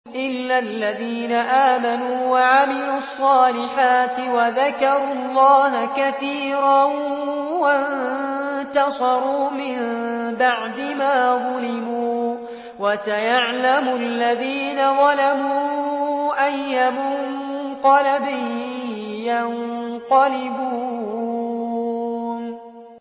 إِلَّا الَّذِينَ آمَنُوا وَعَمِلُوا الصَّالِحَاتِ وَذَكَرُوا اللَّهَ كَثِيرًا وَانتَصَرُوا مِن بَعْدِ مَا ظُلِمُوا ۗ وَسَيَعْلَمُ الَّذِينَ ظَلَمُوا أَيَّ مُنقَلَبٍ يَنقَلِبُونَ